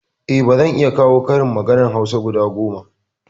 Eh zan iya kawo karin maganar hausa guda goma